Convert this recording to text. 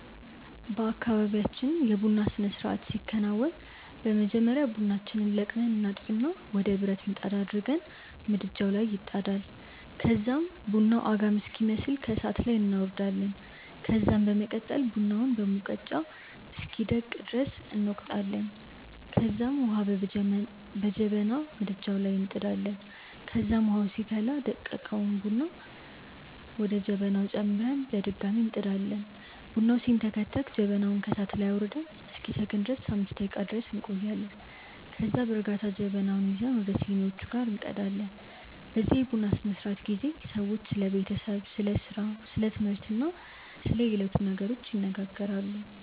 በአካባብያችን የ ቡና ስርአት ሲከናወን በመጀመሪያ ቡናችንን ለቅመን እናጥብና ወደ ብረት ምጣድ አድርገን ምድጃዉ ላይ ይጣዳል ከዛም ቡናዉ አጋም ሲመስል ከእሳት ላይ እናወርዳለን ከዛም በመቀጠል ቡናውን በሙቀጫ እስኪደቅ ድረስ እንወቅጣለንከዛም ዉሀ በጀበና ምድጃዉ ላይ እንጥዳለን ከዛም ዉሀዉ ሲፈላ ደቀቀዉን ቡና ወደ ጀበናዉ ጨምረን በድጋሚ እንጥዳለን። ቡናዉ ሲንተከተክ ጀበናዉን ከእሳት ላይ አዉርደን እስኪሰክን ድረስ 5 ደቄቃ ድረስ እንቆያለን ከዛም ከዛ በእርጋታ ጀበናዉን ይዘን ወደ ሲኒዋቹ ላይ እንቀዳለን። በዚህ የቡና ስነስርዓት ጊዜ ሰዎች ስለ ቤተሰብ፣ ስለ ስራ፣ ስለ ትምህርት እና ስለ የዕለቱ ነገሮች ይነጋገራሉ።